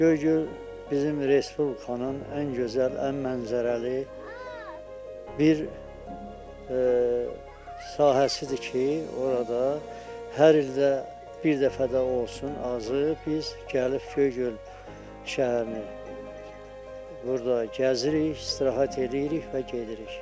Göygöl bizim Respublikanın ən gözəl, ən mənzərəli bir sahəsidir ki, orada hər ildə bir dəfə də olsun, azı, biz gəlib Göygöl şəhərini burda gəzirik, istirahət eləyirik və gedirik.